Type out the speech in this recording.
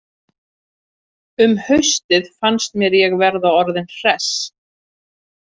Um haustið fannst mér ég vera orðinn hress.